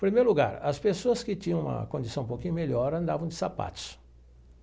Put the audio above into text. Primeiro lugar, as pessoas que tinham uma condição um pouquinho melhor andavam de sapatos.